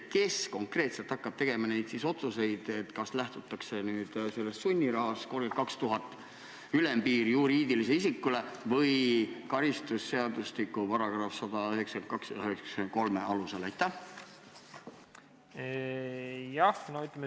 Kes konkreetselt hakkab tegema neid otsuseid, kas lähtutakse sellest sunnirahast, 32 000 eurot on ülempiir juriidilisel isikul, või karistusseadustiku §-dest 192 ja 193?